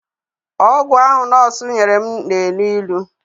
Ọgwụ ahụ nọọsụ nyere na-elụ ịlụ.